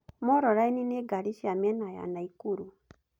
Moroline nĩ ngari cia mĩena ya Nakuru.